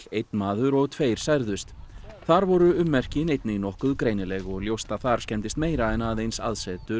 einn maður og tveir særðust þar voru ummerkin einnig nokkuð greinileg og ljóst að þar skemmdist meira en aðeins aðsetur